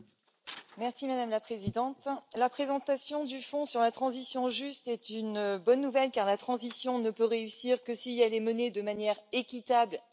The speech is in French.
Madame la Présidente, la présentation du fonds sur la transition juste est une bonne nouvelle car la transition ne peut réussir que si elle est menée de manière équitable et sociale.